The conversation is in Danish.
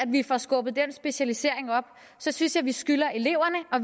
vi får skubbet den specialisering op så synes jeg vi skylder eleverne og